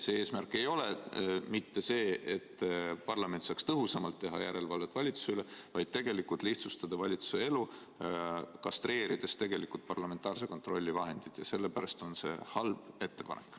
See eesmärk ei ole mitte see, et parlament saaks tõhusamalt teha järelevalvet valitsuse üle, vaid tegelikult lihtsustada valitsuse elu, kastreerides parlamentaarse kontrolli vahendid, ja sellepärast on see halb ettepanek.